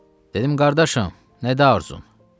Dedim: "Qardaşım, nədir arzun?"